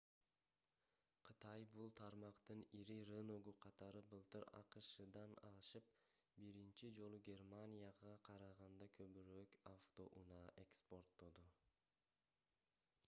кытай бул тармактын ири рыногу катары былтыр акшдан ашып биринчи жолу германияга караганда көбүрөөк автоунаа экспорттоду